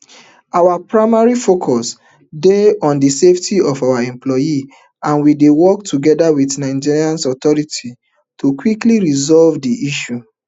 our primary focus remain on di safety of our employees and we dey work togeda wit nigerian authorities to quickly resolve dis issue